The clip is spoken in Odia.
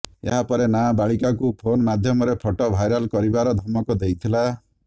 ଏହା ପରେ ନାବାଳିକାକୁ ଫୋନ୍ ମାଧ୍ୟମରେ ଫଟୋ ଭାଇରାଲ କରିବାର ଧମକ ଦେଇଥିଲା